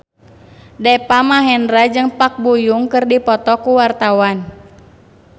Deva Mahendra jeung Park Bo Yung keur dipoto ku wartawan